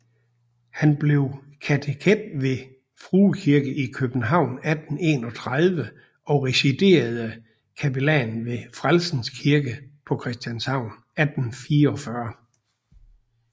Han blev kateket ved Frue Kirke i København 1831 og residerende kapellan ved Frelsers Kirke på Christianshavn 1844